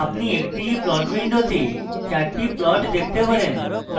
একটিই plots window 4টি plots দেখতে পারেন